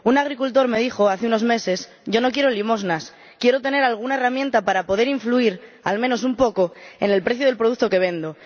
Un agricultor me dijo hace unos meses Yo no quiero limosnas quiero tener alguna herramienta para poder influir, al menos un poco, en el precio del producto que vendo